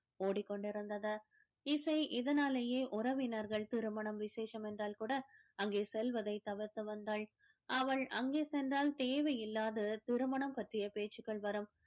ஓடிக்கொண்டிருந்தது இசை இதனாலேயே உறவினர்கள் திருமணம் விசேஷம் என்றால் கூட அங்கே செல்வதைத் தவிர்த்து வந்தாள் அவள் அங்கே சென்றால் தேவையில்லாத திருமணம் பற்றிய பேச்சுக்கள் வரும்